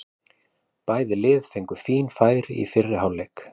Bæði lið fengu fín færi í fyrri hálfleik.